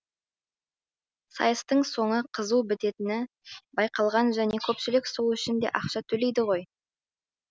сайыстың соңы қызу бітетіні байқалған және көпшілік сол үшін де ақша төледі ғой